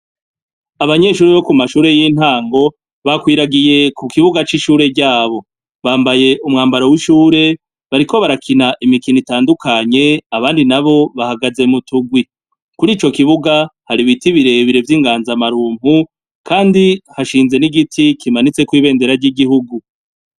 Abanyeshuri bo ku mashure y'intango bakwiragiye ku kibuga c'ishure ryabo bambaye umwambaro w'ishure bariko barakina imikino itandukanye abandi na bo bahagaze mu tugwi kuri ico kibuga hari ibiti birebire vy'inganza amarumpu, kandi hashinze n'igiti kimanitse kw ibendera ry'igihugu.